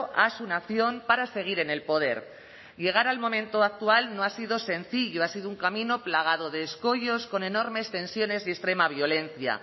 a su nación para seguir en el poder llegar al momento actual no ha sido sencillo ha sido un camino plagado de escollos con enormes tensiones y extrema violencia